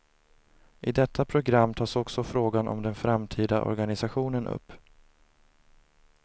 I detta program tas också frågan om den framtida organisationen upp.